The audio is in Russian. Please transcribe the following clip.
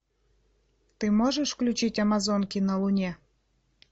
ты можешь включить амазонки на луне